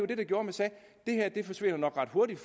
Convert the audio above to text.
det der gjorde at man sagde det her forsvinder nok ret hurtigt